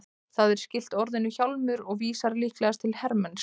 Það er skylt orðinu hjálmur og vísar líklegast til hermennsku.